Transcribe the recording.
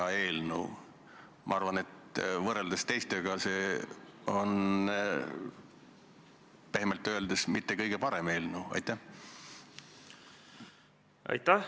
Kuna eelnõu kohta muudatusettepanekuid esitatud ei ole, siis me saame kohe lõpphääletuse juurde minna.